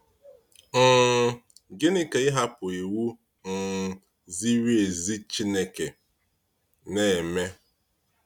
um Gịnị ka ịhapụ iwu um ziri ezi Chineke na-eme?